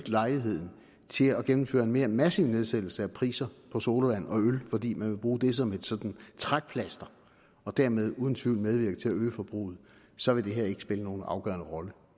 lejligheden til at gennemføre en mere massiv nedsættelse af priser på sodavand og øl fordi man vil bruge det som sådan et trækplaster og dermed uden tvivl medvirke til at øge forbruget så vil det her ikke spille nogen afgørende rolle